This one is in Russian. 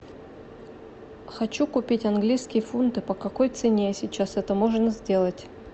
хочу купить английские фунты по какой цене сейчас это можно сделать